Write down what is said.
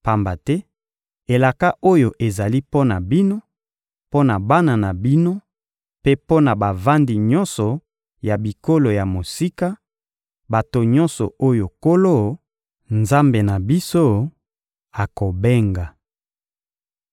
Pamba te elaka oyo ezali mpo na bino, mpo na bana na bino mpe mpo na bavandi nyonso ya bikolo ya mosika, bato nyonso oyo Nkolo, Nzambe na biso, akobenga.